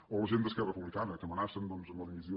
o la gent d’esquerra republicana que amenacen doncs amb la dimissió